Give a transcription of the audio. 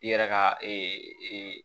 I yɛrɛ ka